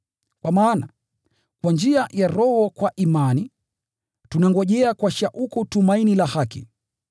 Kwa maana, kwa njia ya Roho kwa imani, tunangojea kwa shauku tumaini la haki.